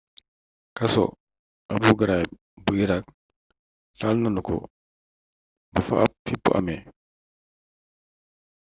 kaso abu ghraib bu iraq taal nanu ko ba fa ab fippu amee